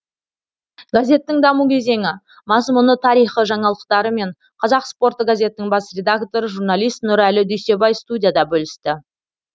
газеттің даму кезеңі мазмұны тарихы жаңалықтарымен қазақ спорты газетінің бас редакторы журналист нұрәлі дүйсебай студияда бөлісті